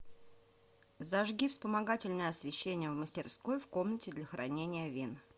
зажги вспомогательное освещение в мастерской в комнате для хранения вин